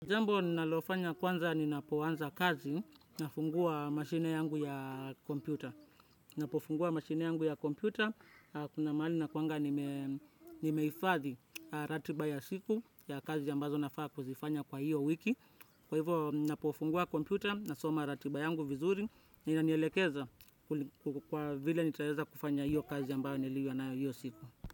Jambo ninalofanya kwanza ninapoanza kazi nafungua mashine yangu ya kompyuta. Napofungua mashine yangu ya kompyuta, kuna mahali nakuanga nime nimehifadhi ratiba ya siku ya kazi ambazo nafaa kuzifanya kwa hiyo wiki. Kwa hivyo, ninapofungua kompyuta nasoma ratiba yangu vizuri, na inanielekeza kuli kwa vile nitaeza kufanya hiyo kazi ambayo niliyo nayo hiyo siku.